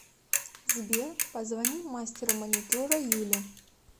сбер позвони мастеру маникюра юле